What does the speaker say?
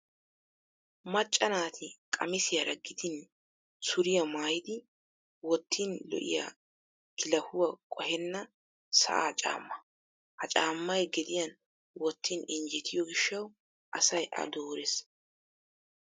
Macca naati qamisiyaara gidin suriya mayyidi wottin lo'iya kilahuwa qohenna sa'aa caammaa. Ha caammay gediyan wottin injjetiyo gishshawu asay a doores.